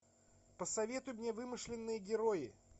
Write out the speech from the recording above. посоветуй мне вымышленные герои